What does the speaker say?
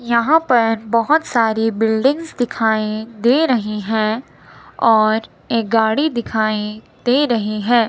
यहां पर बहुत सारी बिल्डिंग्स दिखाई दे रही हैं और एक गाड़ी दिखाई दे रही हैं।